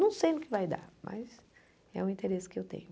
Não sei no que vai dar, mas é o interesse que eu tenho.